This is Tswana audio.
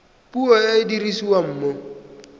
puo e e dirisiwang mo